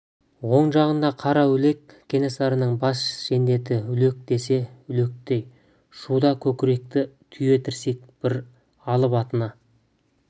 оң жағында қараүлек кенесарының бас жендеті үлек десе үлектей шуда көкіректі түйе тірсек бір алып атына